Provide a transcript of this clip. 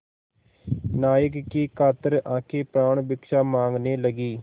नायक की कातर आँखें प्राणभिक्षा माँगने लगीं